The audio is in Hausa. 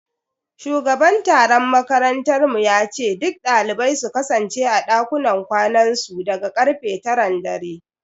Shugaban tsaron makarantar mu yace duk dalibai su kasance a dakunan kwanansu daga karfe taran dare.